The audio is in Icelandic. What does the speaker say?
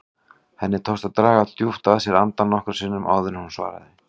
Henni tókst að draga djúpt að sér andann nokkrum sinnum áður en hún svaraði.